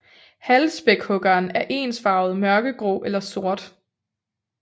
Halvspækhuggeren er ensfarvet mørkegrå eller sort